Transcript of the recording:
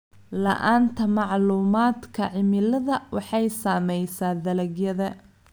La'aanta macluumaadka cimilada waxay saamaysaa dalagyada.